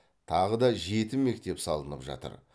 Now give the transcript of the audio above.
тағы да жеті мектеп салынып жатыр